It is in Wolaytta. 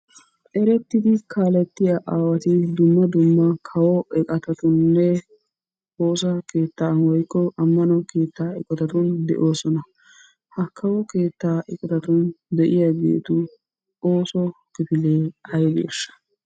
Erettidi kaaletiya aawati dumma dumma kawo eqqottatuninne woossa keettan woykko ammano keettaa eqqotatun de'oosona. Ha kawo keettaa eqqottatun de'iyageetun oosso kifilee aybeesha?